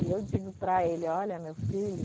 E eu digo para ele, olha, meu filho,